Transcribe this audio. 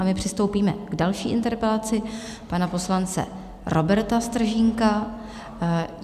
A my přistoupíme k další interpelaci pana poslance Roberta Stržínka.